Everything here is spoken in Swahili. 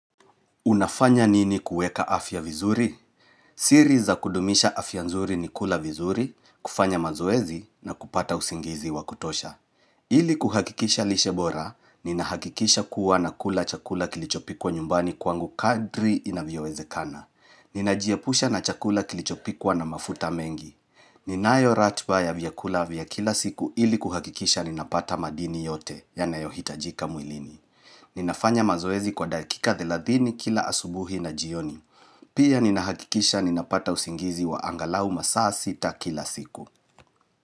Unafanya nini kuweka afya vizuri? Siri za kudumisha afya nzuri ni kula vizuri, kufanya mazoezi, na kupata usingizi wa kutosha. Ili kuhakikisha lishe bora, ninahakikisha kuwa nakula chakula kilichopikwa nyumbani kwangu kadri inavyowezekana. Ninajiepusha na chakula kilichopikwa na mafuta mengi. Ninayo ratiba vya vyakula vya kila siku ili kuhakikisha ninapata madini yote, yanayohitajika mwilini. Ninafanya mazoezi kwa dakika thelathini kila asubuhi na jioni. Pia ninahakikisha ninapata usingizi wa angalau masaa sita kila siku.